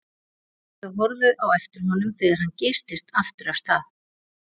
Þau horfðu á eftir honum þegar hann geystist aftur af stað.